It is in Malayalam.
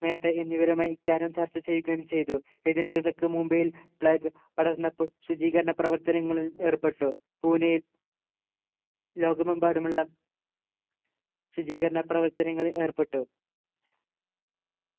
മേത്ത എന്നിവരുമായി ഇക്കാര്യം ചർച്ച ചെയ്യുകയും ചെയ്തു ഇതിനിടക്ക് മുംബൈയിൽ പ്ളേഗ് പടർന്നപ്പോൾ ശുചീകരണ പ്രവർത്തനങ്ങളിൽ ഏർപ്പെട്ടു പൂനെ ലോകമെമ്പാടുമുള്ള ശുചീകരണ പ്രവർത്തനങ്ങളിൽ ഏർപ്പെട്ടു